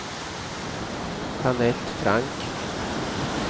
Jeanette Frank